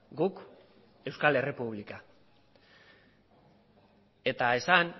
guk euskal errepublika eta esan